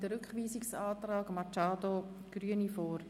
Es liegt ein Rückweisungsantrag von Grossrätin Machado Rebmann vor.